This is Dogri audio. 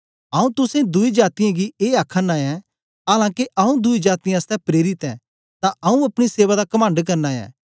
आऊँ तुसें दुई जातीयें गी ए आ आखना ऐं आलां के आऊँ दुई जातीयें आसतै प्रेरित ऐं तां आऊँ अपनी सेवा दा कमंड करना ऐं